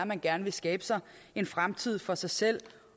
man gerne vil skabe sig en fremtid for sig selv